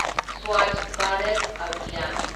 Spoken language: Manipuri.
ꯁ꯭ꯋꯥꯆ ꯚꯥꯔꯠ ꯑꯚꯤꯌꯥꯟ